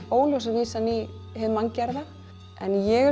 óljósa vísan í hið manngerða ég